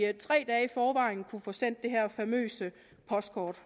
at vi tre dage i forvejen kunne få sendt det her famøse postkort